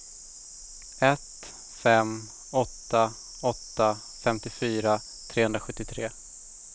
ett fem åtta åtta femtiofyra trehundrasjuttiotre